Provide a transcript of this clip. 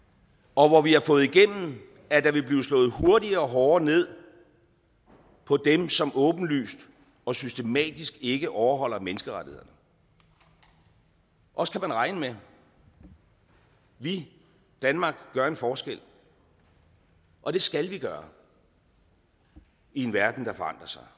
og hvor vi har fået igennem at der vil blive slået hurtigere og hårdere ned på dem som åbenlyst og systematisk ikke overholder menneskerettighederne os kan man regne med vi danmark gør en forskel og det skal vi gøre i en verden der forandrer sig